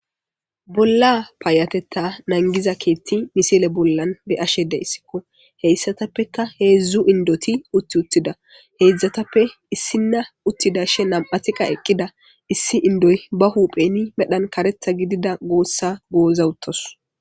Bolla paayatetta nangiza keetti misile bollan be ashede issikko heyssatappeka heedzdzu indoti utti uttida heedzdzatappe issinna uttida she nam7atiqa eqqida issi indoy ba hupheni medhan karetha gidida goossa gooza uttos